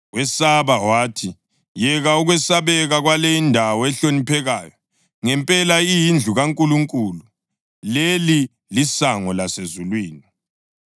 Wesaba wathi, “Yeka ukwesabeka kwale indawo ehloniphekayo! Ngempela iyindlu kaNkulunkulu; leli lisango lasezulwini.”